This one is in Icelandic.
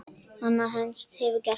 Annað eins hefur gerst.